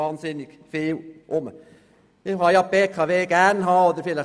Man kann die BKW gern haben oder nicht.